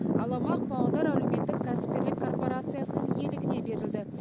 ал аумақ павлодар әлеуметтік кәсіпкерлік корпорациясының иелігіне берілді